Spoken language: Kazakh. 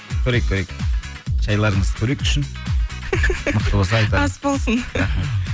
көрейік көрейік шайларыңыздың көрейік күшін мықты болса айтамыз ас болсын